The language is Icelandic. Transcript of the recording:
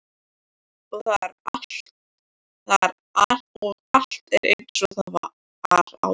Og allt er einsog það var áður.